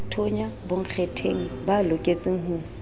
thonya bonkgetheng ba loketseng ho